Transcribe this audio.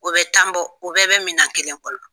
U bɛ tan bɔ u bɛɛ bɛ minan kelen kɔnɔ.